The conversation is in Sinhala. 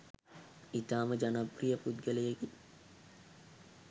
ඉතා ම ජනප්‍රිය පුද්ගලයෙකි